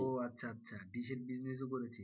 ও আচ্ছা আচ্ছা ডিশের business ও করেছে।